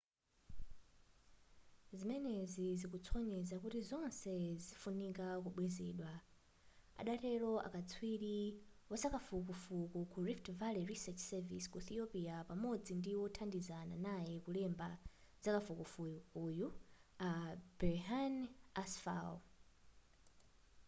zimenezi zikusonyeza kuti zonse zifunika kubwezedwa adatero katswiri wazakafukufuku ku rift valley research service ku ethiopia pamodzi ndi wothandizana naye kulemba zakafukufukuyu a berhane asfaw